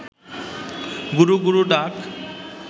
গুরু গুরু ডাক